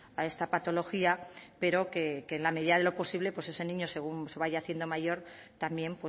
a esta patología pero que en la medida de lo posible pues ese niño según se vaya haciendo mayor también